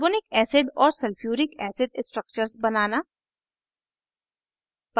carbonic acid और sulphuric acid structures बनाना